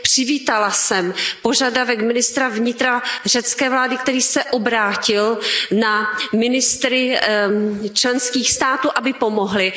Přivítala jsem požadavek ministra vnitra řecké vlády, který se obrátil na ministry členských států, aby pomohli.